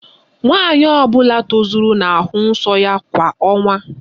Nwaanyị ọbụla tozuru na-ahụ nsọ ya kwa ọnwa.